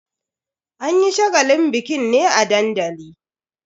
An yi shagalin bikin ne a dandali.